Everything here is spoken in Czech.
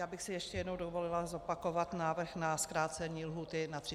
Já bych si ještě jednou dovolila zopakovat návrh na zkrácení lhůty na 30 dní.